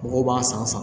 Mɔgɔw b'a san san